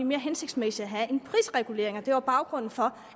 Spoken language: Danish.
mere hensigtsmæssigt at have en prisregulering og det var baggrunden for